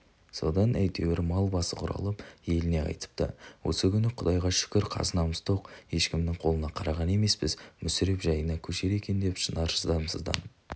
содан әйтеуір мал басы құралып еліне қайтыпты осы күні құдайға шүкір қазанымыз тоқ ешкімнің қолына қараған емеспіз мүсіреп жайына көшер екен деп шынар шыдамсызданып